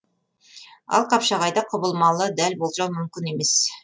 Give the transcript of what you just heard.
ал қапшағайда құбылмалы дәл болжау мүмкін емес